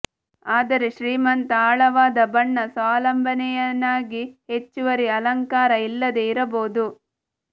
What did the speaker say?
ಆದರೆ ಶ್ರೀಮಂತ ಆಳವಾದ ಬಣ್ಣ ಸ್ವಾವಲಂಬಿಯನ್ನಾಗಿ ಹೆಚ್ಚುವರಿ ಅಲಂಕಾರ ಇಲ್ಲದೆ ಇರಬಹುದು